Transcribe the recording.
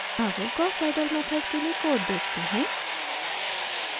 अब gauss seidel method के लिए कोड देखते हैं